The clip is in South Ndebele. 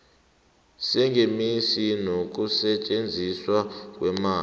sengeniso nokusetjenziswa kweemali